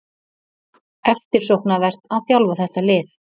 Eftirsóknarvert að þjálfa þetta lið